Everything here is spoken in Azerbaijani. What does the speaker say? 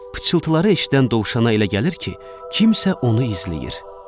Pıçıltıları eşidən dovşana elə gəlir ki, kimsə onu izləyir.